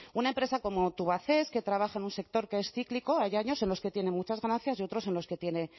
una empresa como tubacex que trabaja en un sector que es cíclico hay años en los que tienen muchas ganancias y otros en los que tiene